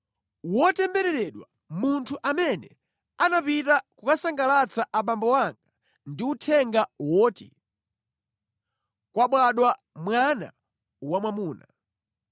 Wotembereredwa munthu amene anapita kukasangalatsa abambo anga ndi uthenga woti: “Kwabadwa mwana wamwamuna!”